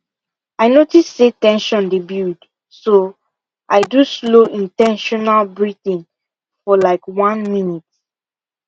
i notice say ten sion dey build so i do slow in ten tional breathing for like one minute